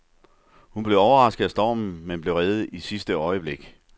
Hun blev overrasket af stormen, men blev reddet i sidste øjeblik.